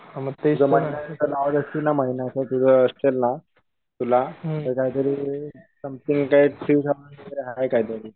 ते काही तरी आहे काहीतरी